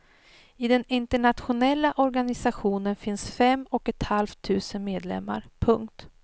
I den internationella organisationen finns fem och ett halvt tusen medlemmar. punkt